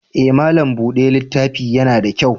Eh, malam bude littafi ya na da kyau.